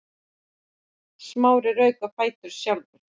Smári rauk á fætur sjálfur.